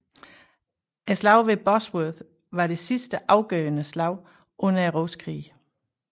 Slaget ved Bosworth var det sidste afgørende slag under Rosekrigene